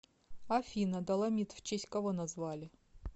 афина доломит в честь кого назвали